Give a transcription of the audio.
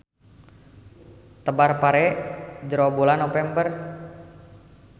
Tebar pare jero bulan Nopember.